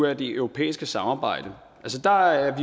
af det europæiske samarbejde der er